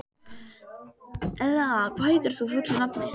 Elea, hvað heitir þú fullu nafni?